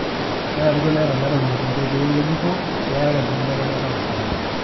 kenarikino neeta ilairemok ikoitoi ng'ejuko peerare enkibelekenyata oloing'ang'e